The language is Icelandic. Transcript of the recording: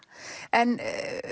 en